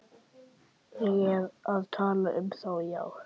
Ég er að tala um þá, já.